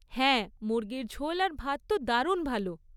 হ্যাঁ, মুর্গির ঝোল আর ভাত তো দারুণ ভালো।